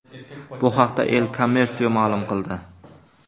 Bu haqda El Comercio ma’lum qildi .